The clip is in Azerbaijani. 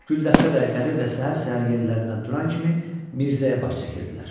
Güldəstə də, Qədir də səhər-səhər yerlərindən duran kimi Mirzəyə baş çəkirdilər.